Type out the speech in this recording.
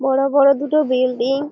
বড়ো বড়ো দুটো বিল্ডিং ।